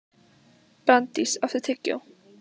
Branddís, áttu tyggjó?